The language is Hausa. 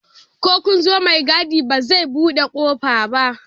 Ko kunzo mai gadi ba zai buɗe kofar ba